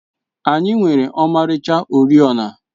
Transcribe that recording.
Anyị nwere ọmarịcha oriọna.